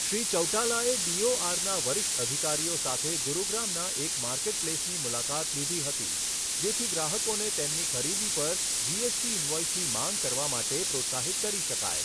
શ્રી ચૌટાલાએ ડીઓઆરના વરિષ્ઠ અધિકારીઓ સાથે ગુરુગ્રામના એક માર્કેટપ્લેસની મુલાકાત લીધી હતી, જેથી ગ્રાહકોને તેમની ખરીદી પર જીએસટી ઇનવોઇસની માંગ કરવા માટે પ્રોત્સાહિત કરી શકાય.